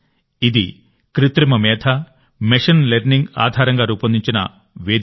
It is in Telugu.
ఇది కృత్రిమ మేధ మెషిన్ లెర్నింగ్ ఆధారంగా రూపొందించిన వేదిక